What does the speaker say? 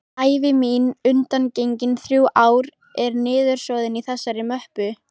Ævi mín undangengin þrjú ár er niðursoðin í þessari möppu.